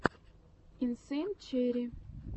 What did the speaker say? инсейн черри